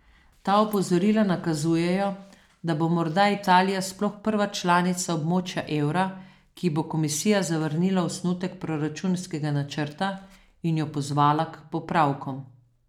Ta opozorila nakazujejo, da bo morda Italija sploh prva članica območja evra, ki ji bo komisija zavrnila osnutek proračunskega načrta in jo pozvala k popravkom.